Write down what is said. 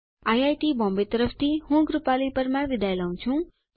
IIT Bombay તરફ થી હું કૃપાલી પરમાર વિદાય લઉં છું